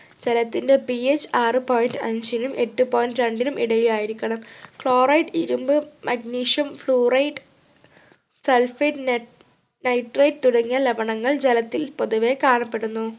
ജലത്തിൻ്റെ ph ആറ് point അഞ്ചിനും എട്ട് point രണ്ടിനും ഇടയിലായിരിക്കണം chloride ഇരുമ്പ് magnesium fluoride sulphitenet nitrate തുടങ്ങിയ ലവണങ്ങൾ ജലത്തിൽ പൊതുവെ കാണപ്പെടുന്നു